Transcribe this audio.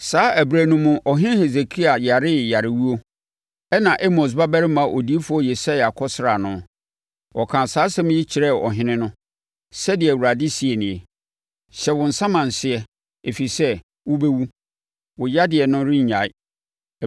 Saa ɛberɛ no mu, ɔhene Hesekia yaree yarewuo, ɛnna Amos babarima odiyifoɔ Yesaia kɔsraa no. Ɔkaa saa asɛm yi kyerɛɛ ɔhene no, “Sɛdeɛ Awurade seɛ nie: Hyɛ wo nsamanseɛ, ɛfiri sɛ, wobɛwu. Wo yadeɛ no rennyae.”